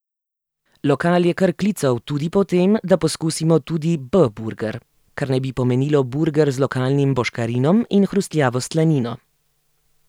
Lokal je kar klical tudi po tem, da poskusimo tudi B burger, kar naj bi pomenilo burger z lokalnim boškarinom in hrustljavo slanino.